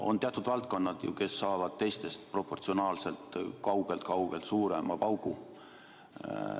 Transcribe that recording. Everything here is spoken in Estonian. On teatud valdkonnad, kes saavad teistest proportsionaalselt kaugelt-kaugelt suurema paugu.